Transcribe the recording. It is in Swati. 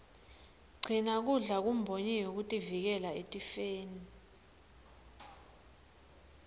gcina kudla kumbonyiwe kutivikela etifeni